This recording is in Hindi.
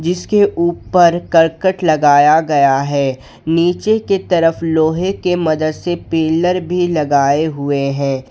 जिसके ऊपर करकट लगाया गया है नीचे की तरफ लोहे के मदद से पिलर भी लगाए हुए हैं।